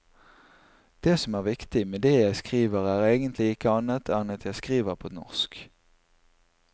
Det som er viktig med det jeg skriver er egentlig ikke annet enn at jeg skriver på norsk.